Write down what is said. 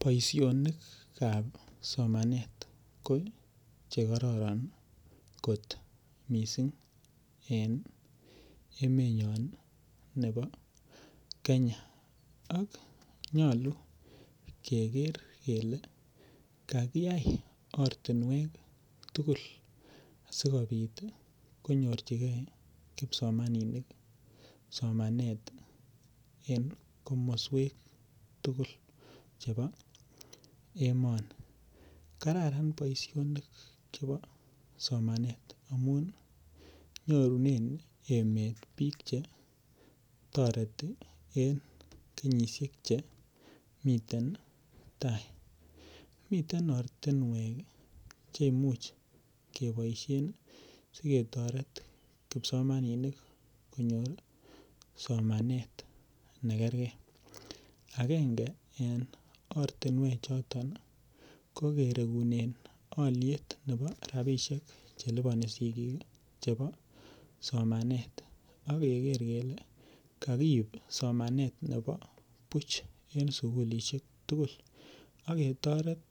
Boisionik kab somanet en emenyon bo Kenya ko chkararan kot missing emenyon ih nebo Kenya. Ak nyolu keker kele kakiyai ortinuek tugul sikobit ih konyorchike kibsomaninik somanet en kakmasuek tugul. Che bo emooni. Kararan boisionik chebo somanet amuun nyorunen emet bik che en kenyisiek chemiten tai. Miten ortinuek ih chei much keboisien siketoret kipsomani Nik konyor somanet nekerke. Agenge en ortinuek choton ih ko kiregunen alit nebo rabisiek chelubani sikik ih chebo somanet akeker kele kakirib somanet nebo buch en sugulisiek tugul. Akotoret